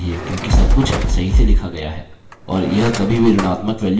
हमें अभी शून्य मिलना चाहिए क्योंकि सबकुछ सही से लिखा गया है